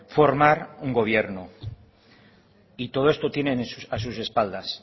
formar un gobierno y todo esto tienen a sus espaldas